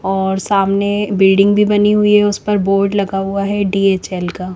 और सामने बिल्डिंग भी बनी हुई है उस पर बोर्ड लगा हुआ है डीएचएल का--